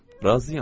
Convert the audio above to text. Razıyam.